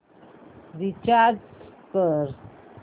recharge कर